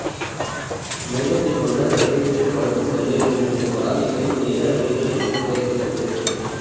மேகத்தை போன்று இறக்கைகளில் பழுப்பும் வெள்ளை நிறமும் இருப்பதால் இவை மேக இறக்கை என்னும் பெயர் பெற்றது